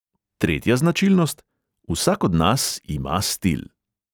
Tretja značilnost: vsak od nas ima stil.